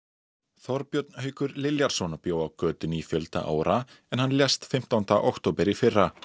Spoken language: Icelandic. Þorbjörn Haukur bjó á götunni í fjölda ára en hann lést fimmtánda október í fyrra